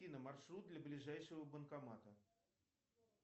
маршрут до ближайшего банкомата